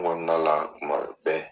Kɔnɔna la bɛn